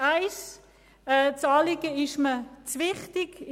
Das Anliegen ist mir zu wichtig.